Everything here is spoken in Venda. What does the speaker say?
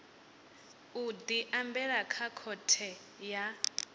u diambela kha khothe ya